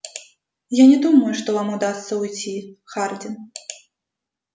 я не думаю что вам удастся уйти хардин